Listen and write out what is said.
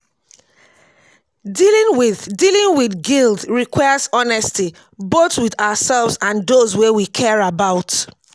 dealing with dealing with guilt requires honesty both with ourselves and those wey we care about.